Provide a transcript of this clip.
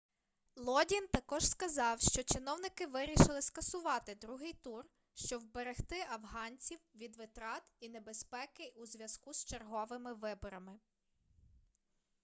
лодін також сказав що чиновники вирішили скасувати другий тур щоб вберегти афганців від витрат і небезпеки у зв'язку з черговими виборами